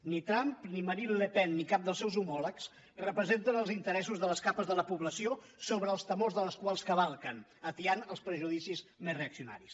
ni trump ni marine le pen ni cap dels seus homòlegs representen els interessos de les capes de la població sobre els temors de les quals cavalquen atiant els prejudicis més reaccionaris